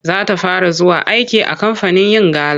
Za ta fara zuwa aiki a kamfanin yin gala.